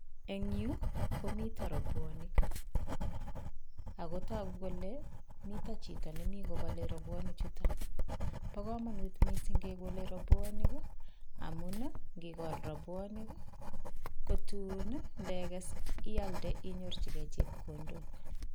Eng yu komito robwonik, ago togu kole mito chito nemi kobole robwoni chutok. Ba kamanut mising kekole rabwonik, amun ngikol rabwonik kotun ndeges ialde inyorchigei chepkondok.